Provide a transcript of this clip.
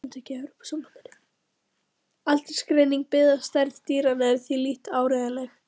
Aldursgreining byggð á stærð dýranna er því lítt áreiðanleg.